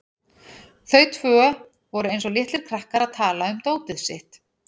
Þau tvö voru eins og litlir krakkar að tala um dótið sitt.